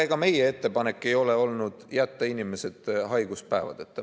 Ega meie ettepanek ei ole olnud jätta inimesed haiguspäevadeta.